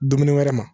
Dumuni wɛrɛ ma